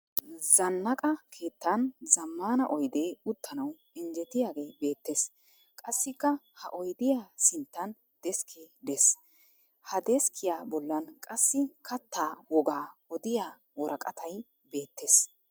Zannaqa keettan zammaana oyidee uttanawu injjetiyagee beettes. Qassikka ha oyidiya sinttan deskkee des. Ha deskkiya bollan qassi kattaa waagaa odiya woraqatay beettes.